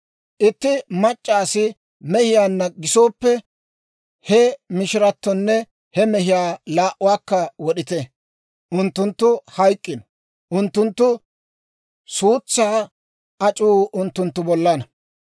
Itti mac'c'a asi mehiyaanna gisooppe he mishiratonne he mehiyaa laa"uwaakka wod'ite; unttunttu hayk'k'ino. Unttunttu suutsaa ac'uu unttunttu bollana.